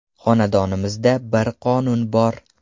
Xonadonimizda bir qonun bor.